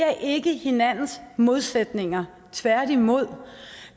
er ikke hinandens modsætninger tværtimod